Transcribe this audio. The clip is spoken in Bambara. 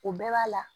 O bɛɛ b'a la